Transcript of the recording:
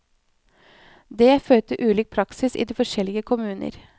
Det fører til ulik praksis i de forskjellige kommuner.